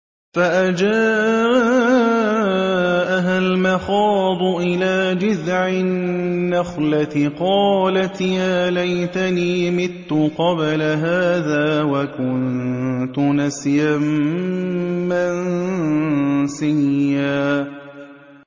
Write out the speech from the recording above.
فَأَجَاءَهَا الْمَخَاضُ إِلَىٰ جِذْعِ النَّخْلَةِ قَالَتْ يَا لَيْتَنِي مِتُّ قَبْلَ هَٰذَا وَكُنتُ نَسْيًا مَّنسِيًّا